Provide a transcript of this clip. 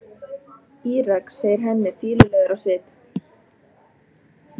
Írak, segir Hemmi, fýlulegur á svip.